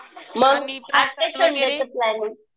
मग आखतेस संडेचं प्लॅनींग.